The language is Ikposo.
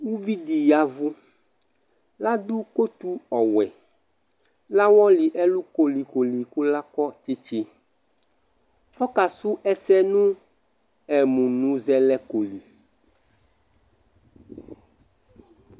uvi di yavu la do kotu ɔwɛ la wɔli ɛlu koli koli kò la kɔ tsitsi ɔka su ɛsɛ no ɛmunuzɛlɛko li